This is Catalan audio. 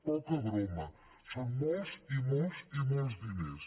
poca broma són molts i molts i molts diners